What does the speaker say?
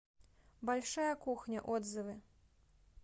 большая кухня отзывы